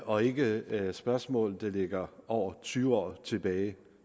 og ikke spørgsmål der ligger over tyve år tilbage